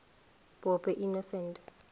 pope innocent